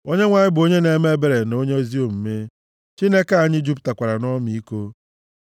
Onyenwe anyị bụ onye na-eme ebere na onye ezi omume. Chineke anyị jupụtakwara nʼọmịiko.